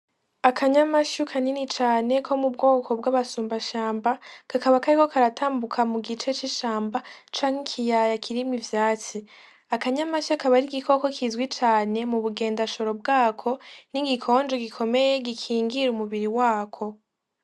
Akanyamasyo kanini cane ko mu bwoko bw'abasumbashamba. Kakaba kariko karatambuka mugice c'ishamba canke ikiyaya kirimwo ivyatsi. Akanyamasyo kaba ari igikoko kizwi cane mu bugendajoro bwako n'igikonjo gikomeye gikingira umubiri wako.